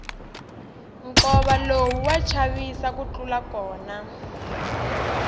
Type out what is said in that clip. nkova lowu wa chavisa ku tlula kona